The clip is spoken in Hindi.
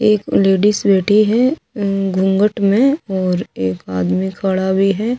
एक लेडीस बैठी है अम्म गुनगठ में और एक आदमी खड़ा भी है जब--